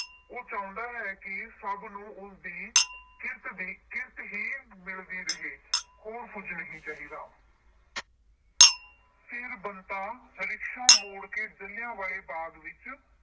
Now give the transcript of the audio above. ਉਹ ਚਾਹੁੰਦਾ ਹੈ ਕਿ ਸਭ ਨੂੰ ਉਸਦੀ ਕਿਰਤ ਦੀ ਅਹ ਕਿਰਤ ਹੀ ਮਿਲਦੀ ਰਹੇ। ਹੋਰ ਕੁਛ ਨਹੀਂ ਚਾਹੀਦਾ। ਫਿਰ ਬੰਤਾ rickshaw ਮੋੜ ਕੇ ਜਲ੍ਹਿਆਂ ਵਾਲੇ ਬਾਗ ਵਿੱਚ